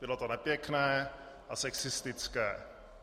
Bylo to nepěkné a sexistické.